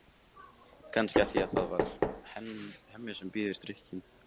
Kannski af því að það er Hemmi sem býður drykkinn.